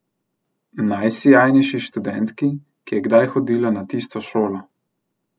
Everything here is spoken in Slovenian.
Najsijajnejši študentki, ki je kdaj hodila na tisto šolo.